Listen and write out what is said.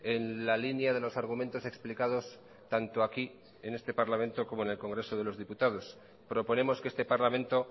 en la línea de los argumentos explicados tanto aquí en este parlamento como en el congreso de los diputados proponemos que este parlamento